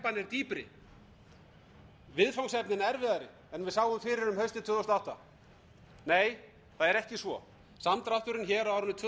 dýpri viðfangsefnin erfiðari en við sáum fyrir um haustið tvö þúsund og átta nei það er ekki svo samdrátturinn hér á árinu tvö þúsund og